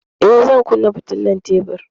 Eh, zan kunna fitilar tebur.